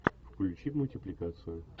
включи мультипликацию